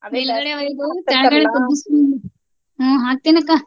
ಮೇಲ್ಗಡೆ ಹ್ಞೂ ಹಾಕ್ತೀನಕಾ.